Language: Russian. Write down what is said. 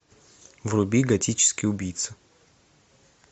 вруби готический убийца